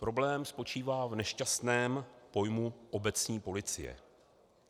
Problém spočívá v nešťastném pojmu "obecní policie".